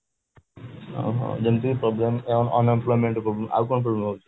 ହଁ ହଁ ଯେମିତି problem ହେଲା unemployment problem ଆଉ କଣ ହଉଛି